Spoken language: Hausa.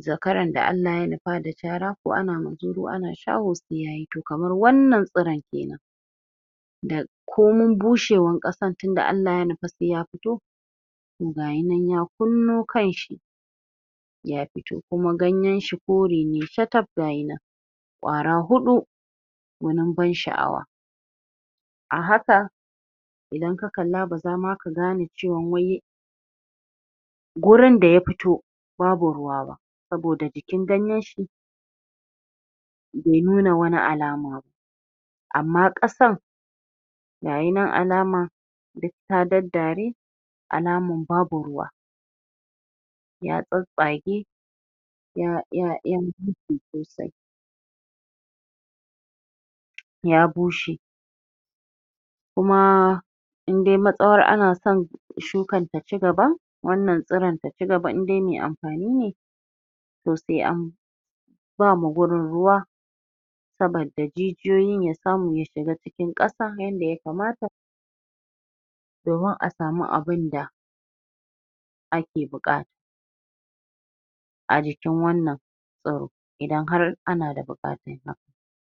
zakaran da Allah ya nufa da caraa ko ana muzuru ana shaho sai yayi toh kamar wannan tsira kenan da komun bushewar ƙa.. san, tunda Allah ya nufa sai ya fito toh gayi nan ya kunno kan shi ya fito kuma ganyen shi kore ne shataf gayi nan ƙwara huɗu gunin ban sha'awa a haka idan ka kalla ba za ma ka gane cewan wai gurin da ya fito babu ruwa ba saboda jikin ganyen shi bai nuna wani alama ba amma ƙasan gayi nan alaman duk ta daddare alamun babu ruwa ya tsatstsage ya ya ya bushe kuma indai matsawar ana san shukan ta cigaba wannan tsiran ta cigaba indai mai amfani ne toh sai an.. bama gurin ruwa saboda ji jiyoyin ya samu ya shiga cikin ƙasa yadda ya kamata domin a samu abunda ake buƙata a jikin wannan tsiro idan har ana da buƙatan haka